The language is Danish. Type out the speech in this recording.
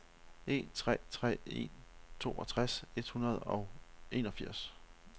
en tre tre en toogtres et hundrede og enogfirs